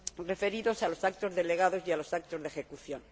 referidos a los actos delegados y a los actos de ejecución.